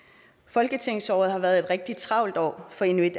folketingsåret har været et rigtig travlt år for inuit